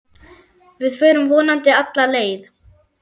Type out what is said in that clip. Við förum vonandi alla leið